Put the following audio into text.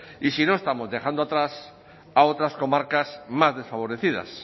y si no estamos dejando atrás a otras comarcas más desfavorecidas